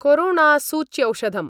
कोरोणासूच्यौषधम्